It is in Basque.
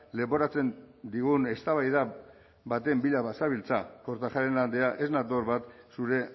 leporatzen digun eztabaida baten bila bazabiltza kortajarena andrea ez nator bat zure